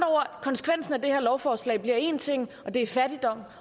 med det her lovforslag én ting og det er fattigdom